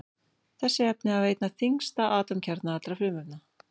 Þessi efni hafa einna þyngsta atómkjarna allra frumefna.